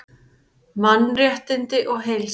Mannréttindi og heilsa